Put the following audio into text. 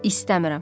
İstəmirəm.